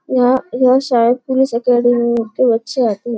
यहाँ बहुत सारे पुलिस अकैडमी के बच्चें आते है।